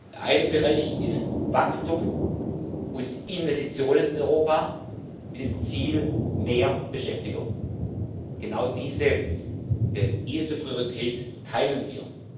Der eine Bereich ist Wachstum und Investitionen in Europa, mit dem Ziel mehr Beschäftigung genau diese erste Priorität teilen wir.